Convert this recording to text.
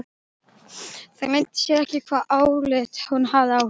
Það leyndi sér ekki hvaða álit hún hafði á honum.